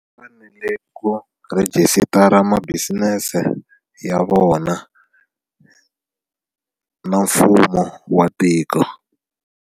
U fanele ku rhejisitara ma-business ya vona na mfumo wa tiko.